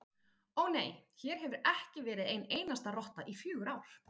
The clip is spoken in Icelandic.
Ó, nei, hér hefur ekki verið ein einasta rotta í fjögur ár